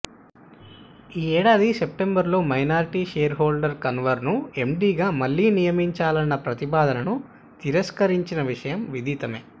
ఈ ఏడాది సెప్టెంబర్లో మైనార్టీ షేర్ హోల్డర్లు కన్వర్ను ఎండీగా మళ్లీ నియమించాలన్న ప్రతిపాదనను తిరస్కరించిన విషయం విదితమే